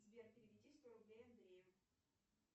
сбер переведи сто рублей андрею